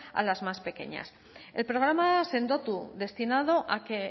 a las más pequeñas el programa sendotu destinado a que